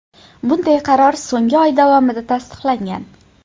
Bunday qaror so‘nggi oy davomida tasdiqlangan.